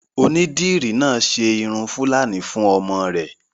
Onídìrí náà ṣe irun fúlàní fún ọmọ rẹ̀